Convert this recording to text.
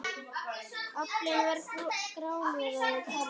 Aflinn var grálúða og karfi.